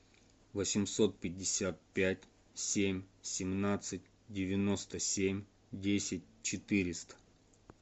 восемьсот пятьдесят пять семь семнадцать девяносто семь десять четыреста